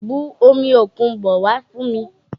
Bu omi òkun bọ̀ wá fún mi!